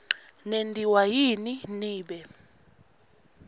nentiwa yini nibe